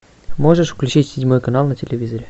можешь включить седьмой канал на телевизоре